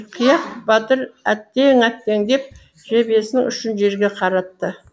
қияқ батыр әттең әттең деп жебесінің ұшын жерге қаратты